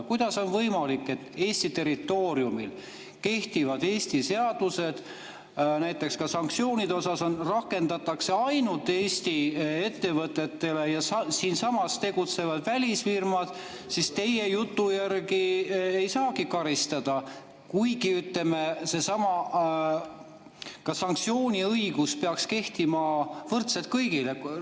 Kuidas on võimalik, et Eesti territooriumil kehtivaid Eesti seadusi näiteks ka sanktsioonide kohta rakendatakse ainult Eesti ettevõtete suhtes, aga siinsamas tegutsevad välisfirmad teie jutu järgi ei saagi karistada, kuigi, ütleme, ka seesama sanktsiooniõigus peaks kehtima võrdselt kõigi kohta?